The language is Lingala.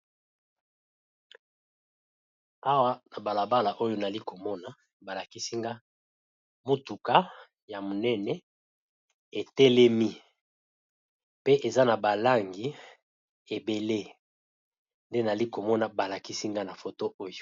awa na balabala oyo nali komona balakisinga motuka ya monene etelemi pe eza na balangi ebele nde nali komona balakisinga na foto oyo